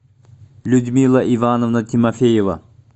людмила ивановна тимофеева